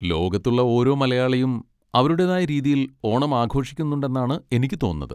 ലോകത്തുളള ഓരോ മലയാളിയും അവരുടേതായ രീതിയിൽ ഓണം ആഘോഷിക്കുന്നുണ്ടെന്നാണ് എനിക്ക് തോന്നുന്നത്.